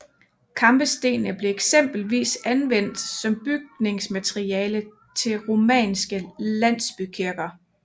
Kampestenene blev eksempelvis anvendt som bygningsmateriale til romanske landsbykirker